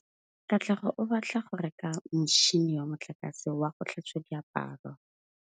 Katlego o batla go reka motšhine wa motlakase wa go tlhatswa diaparo.